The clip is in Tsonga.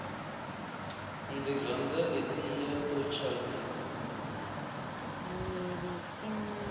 ndzi rhandza letiya to chavisa